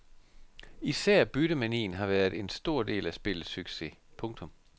Især byttemanien har været en stor del af spillets succes. punktum